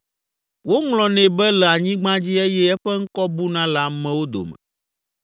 Woŋlɔnɛ be le anyigba dzi eye eƒe ŋkɔ buna le amewo dome.